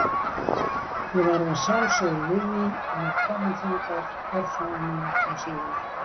Ég varð að sjálfsögðu við því og var kominn þangað örfáum mínútum síðar.